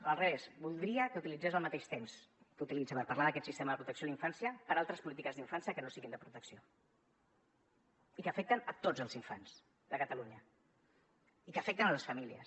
al revés voldria que utilitzés el mateix temps que utilitza per parlar d’aquest sistema de protecció a la infància per a altres polítiques d’infància que no siguin de protecció i que afecten tots els infants de catalunya i que afecten les famílies